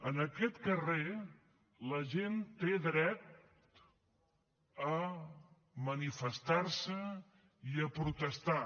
en aquest carrer la gent té dret a manifestarse i a protestar